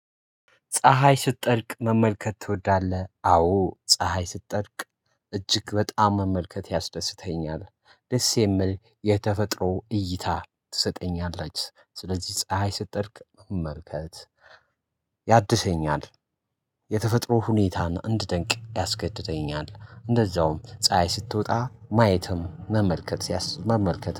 ፀሀይ ስትጠልቅ መመልከት ትወዳለህ? አዎ ፀሀይ ስትጠልቅ እጅግ በጣም መመልከት ያስደስተኛል ደስ የሚል የተፈጥሮ እይታ ትሰጠኛለች ስለዚህ ፀሀይ ስትጸድቅ መመልከት ያድሰኛል። የተፈጥሮ ሁኔታን እንዳደንቅ ያስገድደኛል እንደዛውም ፀሀይ ስትወጣ ማየትም መመልከት ሲያስ መመልከት